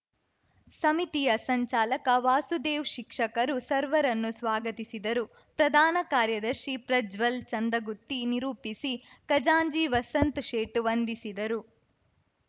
ಸಮಿತಿಯ ಸಂಚಾಲಕ ವಾಸುದೇವ್‌ ಶಿಕ್ಷಕರು ಸರ್ವರನ್ನು ಸ್ವಾಗತಿಸಿದರು ಪ್ರಧಾನ ಕಾರ್ಯದರ್ಶಿ ಪ್ರಜ್ವಲ್‌ ಚಂದ್ರಗುತ್ತಿ ನಿರೂಪಿಸಿ ಖಜಾಂಚಿ ವಸಂತ್‌ ಶೇಟ್‌ ವಂದಿಸಿದರು